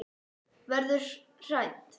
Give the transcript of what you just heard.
Verður hrædd.